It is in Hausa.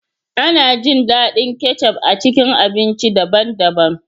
Ana jin daɗin kecup a cikin abinci daban-daban.